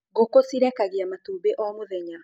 Ngũkũ cĩrekagĩa matumbi o mũthenya